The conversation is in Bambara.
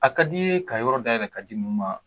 A ka di ye ka yɔrɔ dayɛlɛ ka di ninnu ma?